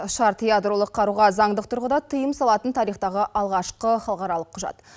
шарт ядролық қаруға заңдық тұрғыда тыйым салатын тарихтағы алғашқы халықаралық құжат